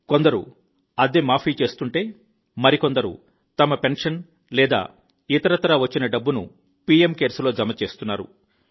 కొందరు అద్దె మాఫీ చేస్తుంటే మరికొందరు తమ పెన్షన్ లేదా ఇతరత్రా వచ్చిన డబ్బును పిఎం కేర్స్ లో జమ చేస్తున్నారు